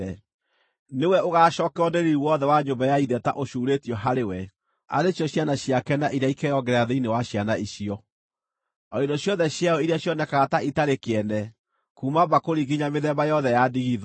Nĩwe ũgaacookererwo nĩ riiri wothe wa nyũmba ya ithe ta ũcuurĩtio harĩ we: ciana ciake na iria ikeyongerera thĩinĩ wa ciana icio, o indo ciothe ciayo iria cionekaga ta itarĩ kĩene, kuuma mbakũri nginya mĩthemba yothe ya ndigithũ.”